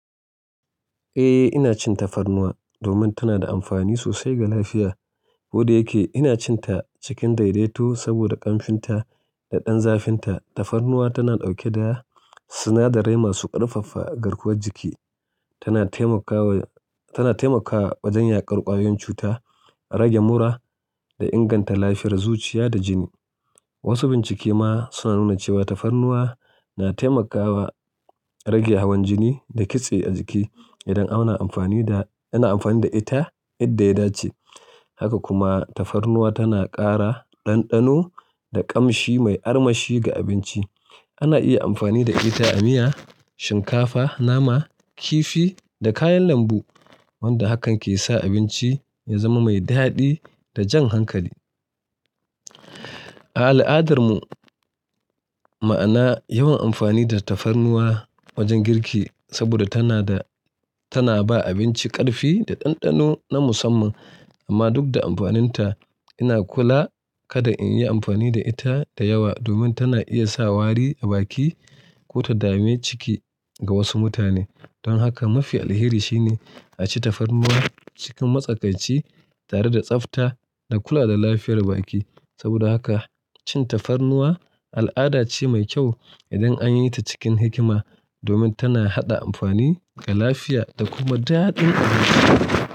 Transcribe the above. Eh, ina cin tafarnuwa domin tana da amfani sosai ga lafiya. Koda yake, ina cin ta cikin daidaito saboda kamfinta da ɗan zafinta. Tafarnuwa tana ɗauke da sinadarai masu ƙarfafa garkuwar jiki. Tana taimakawa, tana taimakawa wajen yaƙar ƙwayoyin cuta, rage mura da inganta lafiyar zuciya da jini. Wasu bincike ma suna nuna cewa tafarnuwa na taimakawa rage hawan jini da kitse a jiki idan ana amfani da, ana amfani da ita yadda ya dace. Haka kuma tafarnuwa tana ƙara ɗanɗano da ƙamshi mai armashi ga abinci. Ana iya amfani da ita a miya, shinkafa, nama, kifi da kayan lambu, wanda hakan ke sa abinci ya zama mai daɗi da jan hankali. A al'adarmu ma ana yawan amfani da tafarnuwa wajen girki saboda tana da, tana ba abinci ƙarfi da ɗanɗano na musamman. Amma duk da amfaninta, ina kula kada in yi amfani da ita da yawa domin tana iya sa wari a baki ko ta dame ciki ga wasu mutane. Don haka mafi alheri shine a ci tafarnuwa cikin matsakaici tare da tsafta da kula da lafiyar baki. Saboda haka cin tafarnuwa al'ada ce mai kyau idan an yi ta cikin hikima domin tana haɗa amfani ga lafiya da kuma daɗin abinci.